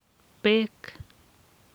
bek